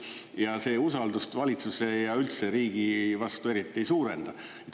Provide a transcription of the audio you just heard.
Ja see usaldust valitsuse ja üldse riigi vastu eriti ei suurenda.